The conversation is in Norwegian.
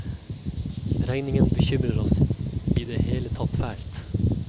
Regningen bekymrer oss i det hele tatt fælt.